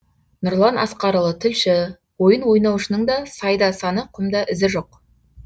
нұрлан асқарұлы тілші ойын ойнаушының да сайда саны құмда ізі жоқ